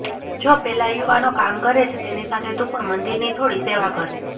જો પેલા યુવાનો કામ કરે છે તેની સાથે તું પણ મંદિરની થોડી સેવા કર